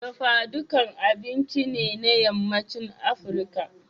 Dafa dukka abinci ne na Yammacin Afirka.